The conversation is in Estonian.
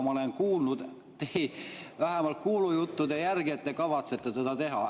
Ma olen kuulnud vähemalt kuulujutte, et te kavatsete seda teha.